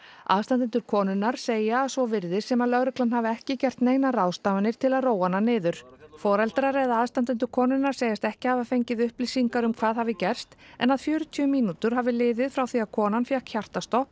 aðstandendur konunnar segja að svo virðist sem að lögreglan hafi ekki gert neinar ráðstafanir til að róa hana niður foreldrar eða aðstandendur konunnar segjast ekki hafa fengið upplýsingar um hvað hafi gerst en að fjörutíu mínútur hafi liðið frá því að konan fékk hjartastopp